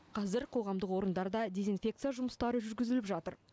қазір қоғамдық орындарда дезинфекция жұмыстары жүргізіліп жатыр